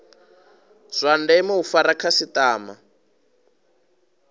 zwa ndeme u fara khasitama